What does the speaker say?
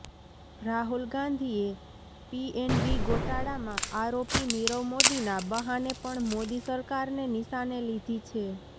રાહુલ ગાંધીએ પીએનબી ગોટાળામાં આરોપી નીરવ મોદીના બહાને પણ મોદી સરકારને નિશાને લીધી છે